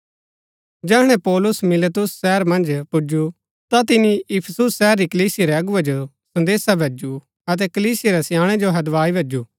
जैहणै पौलुस मिलेतुस शहर मन्ज पुजु ता तिनी इफिसुस शहर री कलीसिया रै अगुवै जो संदेसा भैजु अतै कलीसिया रै स्याणै जो हदवाई भैजु